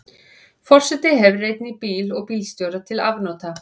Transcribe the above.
Forseti hefur einnig bíl og bílstjóra til afnota.